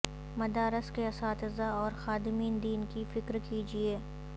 مدارس کے اساتذہ اور خادمین دین کی فکر کیجئے